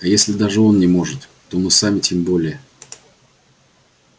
а если даже он не может то мы сами тем более